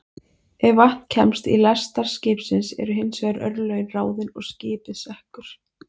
Ef vatn kemst í lestar skipsins eru hins vegar örlögin ráðin og skipið sekkur.